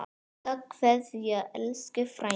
HINSTA KVEÐJA Elsku frændi.